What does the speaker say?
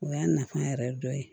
O y'a nafa yɛrɛ dɔ ye